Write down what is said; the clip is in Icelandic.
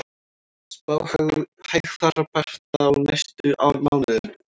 Spá hægfara bata á næstu mánuðum